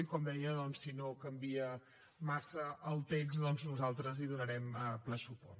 i com deia doncs si no canvia massa el text nosaltres hi donarem ple suport